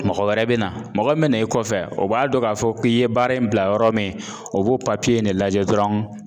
Mɔgɔ wɛrɛ bɛ na mɔgɔ min bɛ n'e kɔfɛ o b'a dɔn k'a fɔ k'i ye baara in bila yɔrɔ min o b'o in de lajɛ dɔrɔn